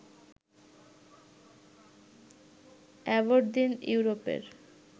Aberdeen ইউরোপের